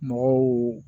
Mɔgɔw